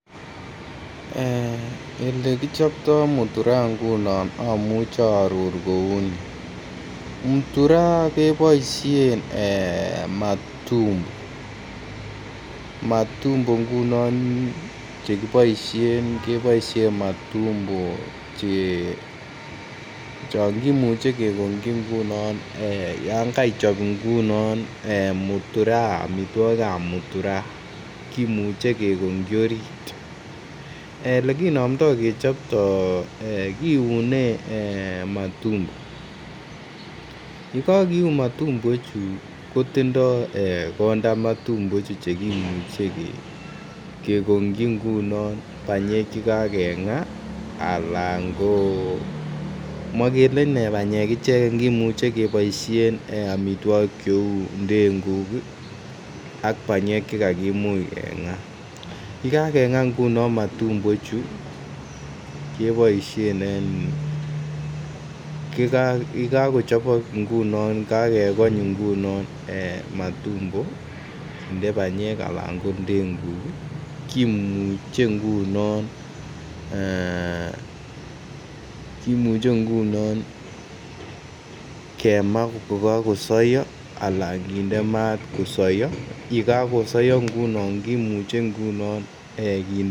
Elekichoptoi mutura amuche Arora kouni mutura kebaishen matumbo matumbo ngunon chekibaishen kibaishen matumbo Che changimuche kengongi ngunon yangatichop ingunon mutura ak amitwagik ab mutura kimuche kegongi orit elekinamda kechopto kiune matumbo ak yekakeun matumbo Chu kotindo konda matumbo ichuton cheimuche kegongi ingunon banyek chekakenga anan komakele banyek icheken kimuche kebaishen amitwagik cheu denguk ak banyek chekakimuch kenga yekakenga ingunon matumbo ichu kebaishen en akyekakochabak ingunon agegony ingunon matumbo agende banyek anan ko ndengukkimuche kimuche ngunon kemaa kokakosaya anan kende mat kosaya kemaa kokakosaya anan kende mat kosaya ak yekakosaya kimuche kinde